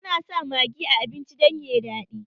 Ana sa magi a abincin dan yayi daɗi